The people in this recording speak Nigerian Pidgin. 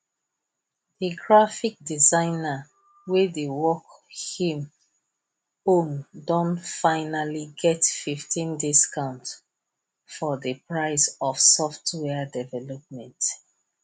graphic designer wey dey work him own don finally get 15 discount for the price of software development